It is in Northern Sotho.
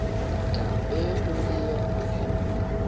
tla be o le wa